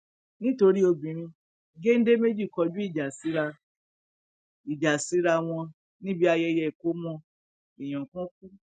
nítorí obìnrin géńdé méjì kọjú ìjà síra ìjà síra wọn níbi ayẹyẹ ìkọmọ èèyàn kan kú